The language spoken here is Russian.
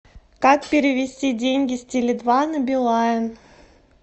как перевести деньги с теле два на билайн